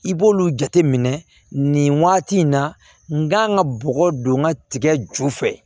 I b'olu jateminɛ nin waati in na n kan ka bɔgɔ don n ka tigɛ ju fɛ